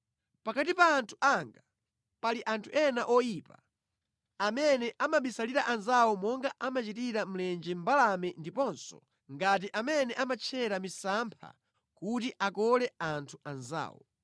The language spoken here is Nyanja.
“Pakati pa anthu anga pali anthu ena oyipa amene amabisalira anzawo monga amachitira mlenje mbalame ndiponso ngati amene amatchera misampha kuti akole anthu anzawo.